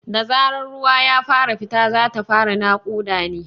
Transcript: Da zarar ruwa ya fara fita, za ta fara naƙuda ne.